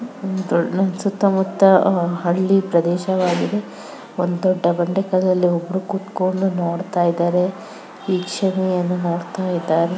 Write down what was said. ಮ್ ದೋ -ಸುತ್ತ ಮುತ್ತ ಹಳ್ಳಿ ಪ್ರದೇಶವಾಗಿದೆ ಒಂದು ದೊಡ್ಡ ಬಂಡೆ ಕಲ್ಲಲ್ಲಿ ಒಬ್ರು ಕುತ್ಕೊಂಡು ನೋಡ್ತಾ ಇದಾರೆ. ವೀಕ್ಷಣೆ ಅನ್ನು ನೋಡ್ತಾ ಇದ್ದಾರೆ.